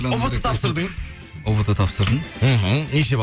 ұбт тапсырдыңыз ұбт тапсырдым мхм неше бал